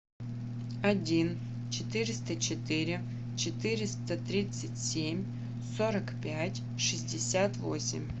один четыреста четыре четыреста тридцать семь сорок пять шестьдесят восемь